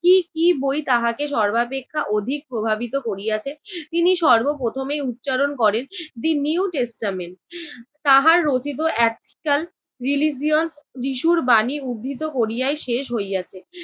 কী কী বই তাহাকে সর্বাপেক্ষা অধিক প্রভাবিত করিয়াছে? তিনি সর্বপ্রথমেই উচ্চারণ করেন দি নিউ টেস্টামেন, তাহার রচিত একটা religious যিশুর বাণী উদ্ধৃত করিয়াই শেষ হইয়াছে।